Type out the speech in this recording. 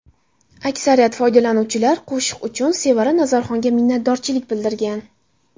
Aksariyat foydalanuvchilar qo‘shiq uchun Sevara Nazarxonga minnatdorchilik bildirgan.